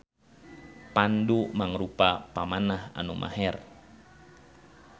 Pandu mangrupa pamanah anu maher.